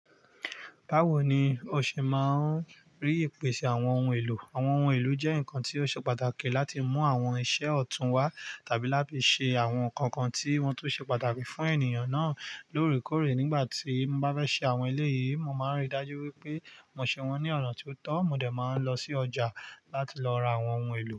Bawo ni o ṣe máa ń rí ìpèsè àwọn ohun èlò? Àwọn ohun èlò jẹ́ nǹkan tí ó ṣe pàtàkì láti mú àwọn iṣẹ́ ọ̀tún wá tàbí láti ṣe àwọn nǹkan kan tí wọ́n tún ṣe pàtàkì fún ènìyàn náà lórèkórè. Nígbà tí mo bá fẹ́ ṣe àwọn ilé yìí, mo máa n ríi dájú wípé mo ṣe wọ́n ní ọ̀nà tí ó tọ́. Mo dẹ̀ máa n lọ sí ọjà láti lọ ra àwọn ohun èlò.